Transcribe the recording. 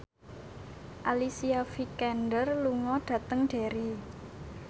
Alicia Vikander lunga dhateng Derry